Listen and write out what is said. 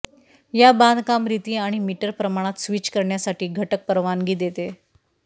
या बांधकाम रीती आणि मीटर प्रमाणात स्विच करण्यासाठी घटक परवानगी देते